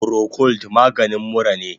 Procold maganin mura ne